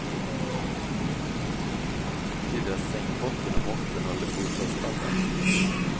Det betyder att sängbotten och måtten håller bostadsstandard.